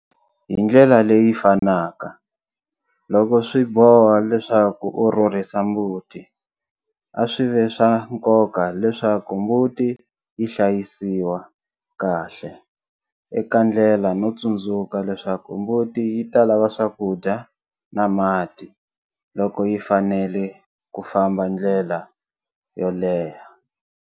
Hi ndlela leyi fanaka, loko swi boha leswaku u rhurhisa mbuti a swi ve swa nkoka leswaku mbuti yi hlayisiwa kahle eka ndlela no tsundzuka leswaku mbuti yi ta lava swakudya na mati loko yi fanele ku famba ndlela yo leha.